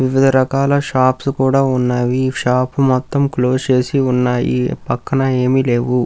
వివిధ రకాల షాప్స్ కూడా ఉన్నవి. షాప్స్ మొత్తం క్లోజ్ చేసి ఉన్నాయి. పక్కన ఏమి లేవు.